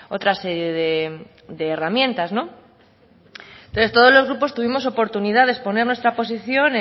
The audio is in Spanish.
otra serie de herramientas no entonces todos los grupos tuvimos oportunidad de exponer nuestra posición